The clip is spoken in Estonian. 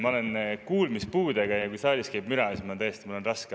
Ma olen kuulmispuudega ja kui saalis käib müra, siis mul on tõesti raske aru saada.